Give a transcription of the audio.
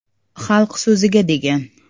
‘Xalq so‘zi’ga, degan.